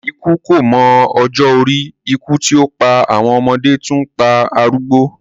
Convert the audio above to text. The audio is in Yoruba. Ikú kò mọ ọjọ́ orí, ikú tí ó pa àwọn ọmọdé, tún ń pa arúgbó.